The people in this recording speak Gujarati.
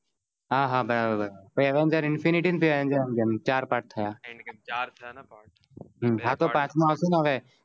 હા હા બરાબર ફીર Avengers Infinity war Avenger endgame ચાર પાચ થયા ચાર થયા હા તો પાચમો આવસે ને આવે